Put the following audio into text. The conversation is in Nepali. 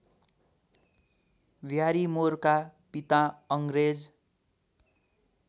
ब्यारिमोरका पिता अङ्ग्रेज